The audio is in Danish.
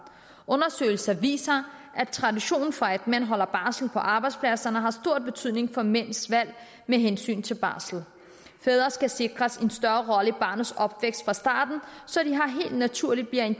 undersøgelser viser at traditionen for at mænd holder barsel på arbejdspladserne har stor betydning for mænds valg med hensyn til barsel fædre skal sikres en større rolle i barnets opvækst fra starten så de helt naturligt bliver en